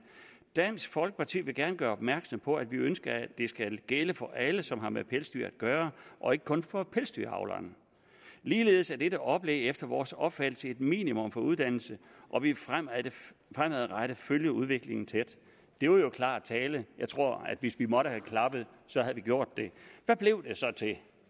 dansk folkeparti vil gerne gøre opmærksom på at vi ønsker at det skal gælde for alle som har med pelsdyr at gøre og ikke kun for pelsdyravleren ligeledes er dette oplæg efter vores opfattelse et minimum for uddannelse og vi vil fremadrettet følge udviklingen tæt det var jo klar tale jeg tror at hvis vi måtte have klappet havde vi gjort det